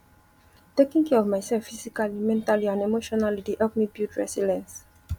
taking care of myself physically mentally and emotionally dey help me build resilience